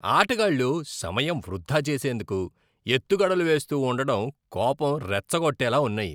ఆటగాళ్ళు సమయం వృధా చేసేందుకు ఎత్తుగడలు వేస్తూ ఉండడం కోపం రెచ్చగొట్టేలా ఉన్నాయి.